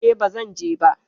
E, ba zan je ba.